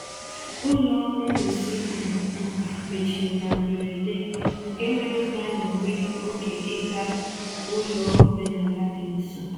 um Ụlọ ngosi um nka mechiri na mberede, nke mere ka anyị nwee oge ịga ụlọ omenala dị nso.